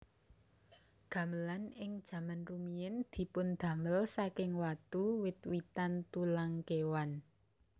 Gamelan ing jaman rumiyin dipundamel saking watu wit witan tulang kewan